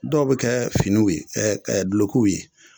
Dɔw be kɛɛ finiw ye dulokiw ye.